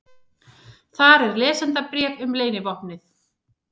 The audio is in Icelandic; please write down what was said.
Þar er lesendabréf um leynivopnið.